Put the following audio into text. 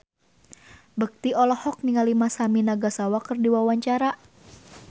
Indra Bekti olohok ningali Masami Nagasawa keur diwawancara